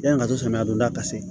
Yani ka to samiya donda ka se